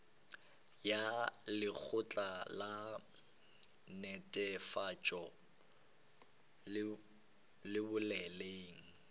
ya lekgotla la netefatšo boleng